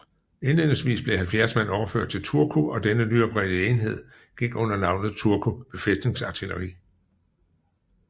Indledningsvis blev 70 mand overført til Turku og denne nyoprettede enhed gik under navnet Turku befæstningsartilleri